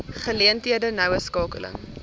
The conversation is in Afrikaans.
geleenthede noue skakeling